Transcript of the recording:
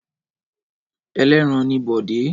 Ẹlẹ́ran ni Bọ̀dé.